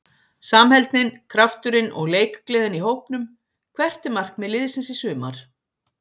Samheldnin, krafturinn og leikgleðin í hópnum Hvert er markmið liðsins í sumar?